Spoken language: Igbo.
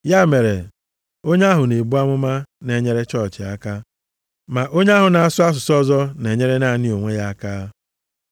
Ya mere, onye ahụ na-ebu amụma na-enyere chọọchị aka, ma onye ahụ na-asụ asụsụ ọzọ, na-enyere naanị onwe ya aka.